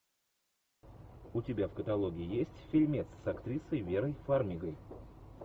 у тебя в каталоге есть фильмец с актрисой верой фармигой